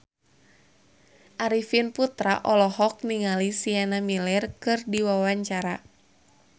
Arifin Putra olohok ningali Sienna Miller keur diwawancara